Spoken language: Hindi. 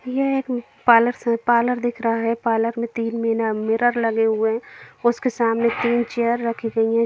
यहा एक म पार्लर स पार्लर दिख रहा है पार्लर तीन मीना मिरर लगे हुए है उसके सामने तीन चेयर रखी हुई हैं ।